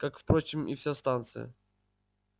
как впрочем и вся станция